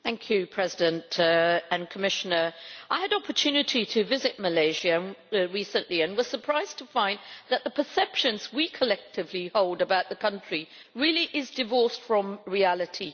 Mr President, I had the opportunity to visit Malaysia recently and was surprised to find that the perception we collectively hold about the country really is divorced from reality.